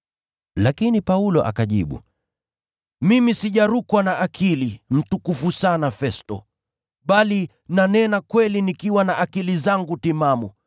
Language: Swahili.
Lakini Paulo akajibu, “Mimi sijarukwa na akili, mtukufu sana Festo, bali nanena kweli nikiwa na akili zangu timamu.